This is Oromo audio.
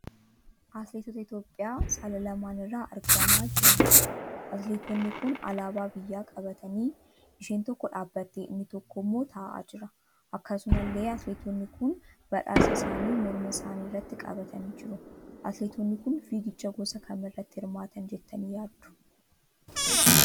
Atileetota Itiyoopiyaa saala lamaan irraa argamaa jiraniidha. Atileetonni kun Alaabaa biyyaa qabatanii, isheen tokko dhaabbattee inni tokkommooo ta'aa jira. Akkasumallee Atileetonni kun badhaasa isaanii morma isaanii irratti qabatanii jiru. Atileetonni kun fiigicha gosa kam irratti hirmaatan jettanii yaaddu?